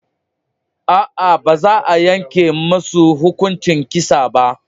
A'a baza yanke musu hukuncin kisa ba